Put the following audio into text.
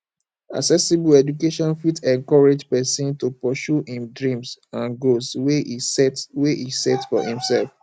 accessible education fit encourage persin to pursue im dreams and goals wey e set wey e set for imself